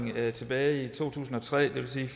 tilbage i to tusind og tre det vil sige